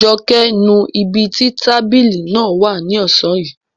Joke nu ibi tí tábìlì náà wà ní ọ̀sán yìí